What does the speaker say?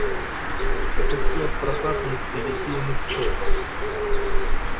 это все от прокатных и литейных цехов